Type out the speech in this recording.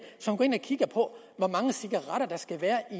i kigger på hvor mange cigaretter der skal være i